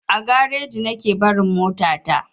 A gareji nake barin mota ta.